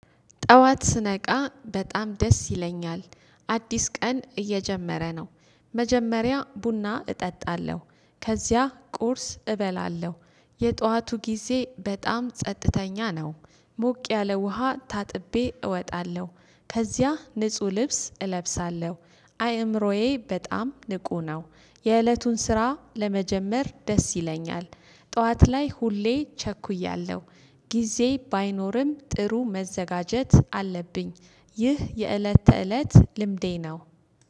ጠዋት ስነቃ በጣም ደስ ይለኛል አዲስ ቀን እየጀመረ ነው። መጀመሪያ ቡና እጠጣለሁ ከዚያ ቁርስ እበላለሁ የጧቱ ጊዜ በጣም ጸጥተኛ ነው። ሞቅ ያለ ውሃ ታጥቤ እወጣለሁ ከዚያ ንጹህ ልብስ እለብሳለሁ አይምሮዬ በጣም ንቁ ነው። የእለቱን ስራ ለመጀመር ደስ ይለኛል። ጠዋት ላይ ሁሌ ቸኩያለሁ። ጊዜ ባይኖርም ጥሩ መዘጋጀት አለብኝ። ይህ የእለት ተእለት ልምዴ ነው።